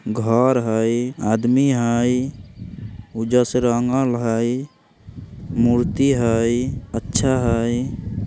घर हई आदमी हई उज्जर से रंगल हई मूर्ति हई अच्छा हई।